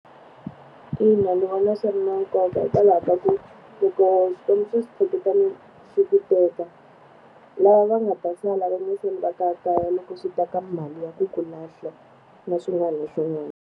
Ina, ni vona swi ri na nkoka hikwalaho ka ku, loko swo switshuketana swi ku teka, lava va nga ta sala va nge sali va kayakaya loko swi ta ka mali ya ku ku lahla na swin'wana na swin'wana.